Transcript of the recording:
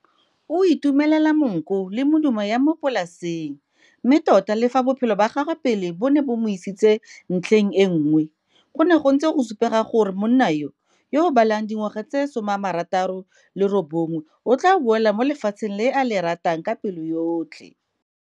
O itumelela monko le medumo ya mo polaseng mme tota le fa bophelo ba gagwe pele bo ne bo mo isitse ntlheng e nngwe, go ne go ntse go supega gore monna yo, yo o balang dingwaga tse 69, o tlaa boela mo lefatsheng le a le ratang ka pelo yotlhe.